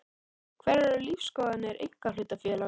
Hverjar eru lífsskoðanir einkahlutafélags?